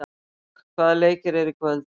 Vök, hvaða leikir eru í kvöld?